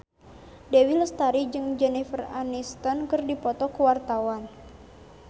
Dewi Lestari jeung Jennifer Aniston keur dipoto ku wartawan